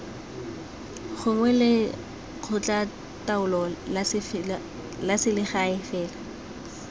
gongwe lekgotlataolo la selegae fela